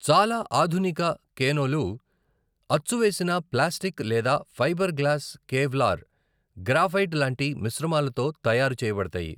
చాలా ఆధునిక కేనోలు అచ్చూవేసిన ప్లాస్టిక్ లేదా ఫైబర్ గ్లాస్ కేవ్లార్, గ్రాఫైట్ లాంటి మిశ్రమాలతో తయారు చేయబడతాయి.